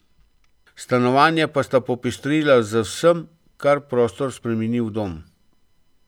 Stanovanje pa sta popestrila z vsem, kar prostor spremeni v dom.